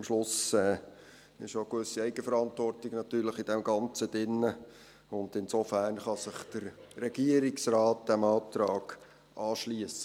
Am Schluss liegt aber in dem Ganzen natürlich auch eine gewisse Eigenverantwortung, und insofern, um es kurz zu machen, Herr Präsident, kann sich der Regierungsrat diesem Antrag anschliessen.